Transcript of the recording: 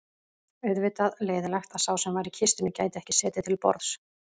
Auðvitað leiðinlegt að sá sem var í kistunni gæti ekki setið til borðs